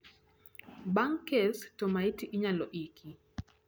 bang kes to maiti inyalo iki